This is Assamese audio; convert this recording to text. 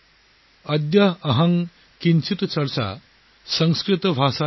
অদ্য অহং কিঞ্চিত চৰ্চা সংস্কৃত ভাষায়া আৰম্ভে